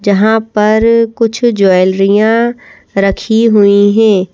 जहाँ पर कुछ ज्वैलरियाँ रखी हुई हैं।